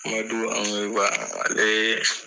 Amadu Angoyiba ale